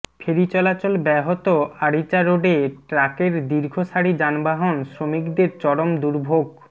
ফেরি চলাচল ব্যাহত আরিচা রোডে ট্রাকের দীর্ঘ সাড়ি যানবাহন শ্রমিকদের চরম দুর্ভোগ